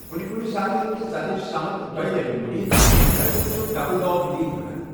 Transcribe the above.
کُنہ ِکُنہِ ساتہٕ ہیکہِ زَدٕچ سمت دۄیہِ لٹہِ مُڑتھ، تتہھ چھِ 'ڈبل ڈاگ لیٚگ' وَنان